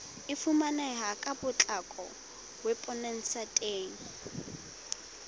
e fumaneha ka potlako weposaeteng